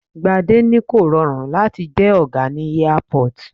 Gbade ní kò rọrùn láti jẹ́ ọ̀gá ní Airport.